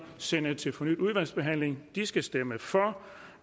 sende det til fornyet udvalgsbehandling skal stemme for